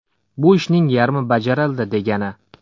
Bu – ishning yarmi bajarildi, degani.